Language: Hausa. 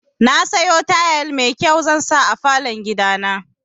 Nasiyo tayal mai kyau zansa a falon gidana.